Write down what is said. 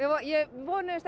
vonuðumst